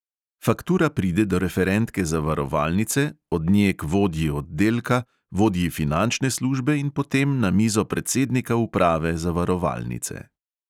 Faktura pride do referentke zavarovalnice, od nje k vodji oddelka, vodji finančne službe in potem na mizo predsednika uprave zavarovalnice.